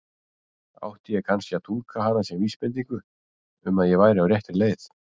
Átti ég kannski að túlka hana sem vísbendingu um að ég væri á réttri leið?